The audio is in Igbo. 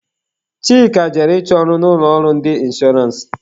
Chika jere ịchọ ọrụ na ụlọ ọrụ ndị inshọrance.